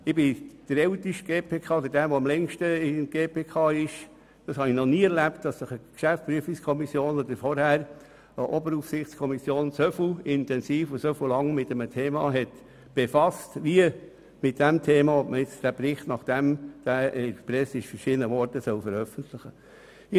Ich bin das amtsälteste GPK-Mitglied, und ich habe noch nie erlebt, dass sich eine GPK oder vorher eine Oberaufsichtskommission so intensiv oder so lange mit einem Thema befasst hat, wie mit der Frage, ob man den Bericht nun veröffentlichen soll, nachdem er in der Presse aufgetaucht ist.